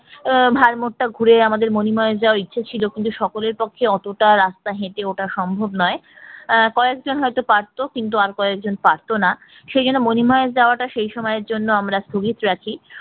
আহ ভরমোর টা ঘুরে আমাদের মনিমাহেস যাওয়ার ইচ্ছা ছিল কিন্তু সকলের পক্ষে অতটা রাস্তা হেটে ওঠা সম্ভব না আহ কয়েকজন হয়তো পারতো কিন্তু আর কয়েকজন পারত না সেই জন্য মনি মহেশ যাওয়াটা সেই সময়ের জন্য আমরা স্থগিত রাখি